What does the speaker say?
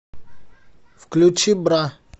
включи бра